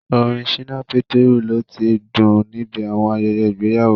Orin Ṣínà Pétérù lo tí ń dún níbi àwọn ayẹyẹ ìgbéyàwó